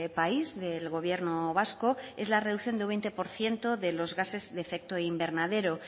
país del gobierno vasco es la reducción de un veinte por ciento de los gases de efecto invernadero